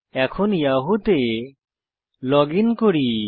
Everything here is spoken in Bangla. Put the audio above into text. এখন ইয়াহু তে লগইন করি